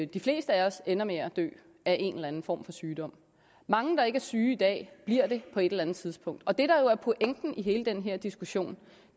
de fleste af os ender med at dø af en eller anden form for sygdom mange der ikke er syge i dag bliver det på et eller andet tidspunkt og det der er pointen med hele den her diskussion